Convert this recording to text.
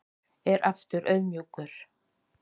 Er aftur auðmjúkur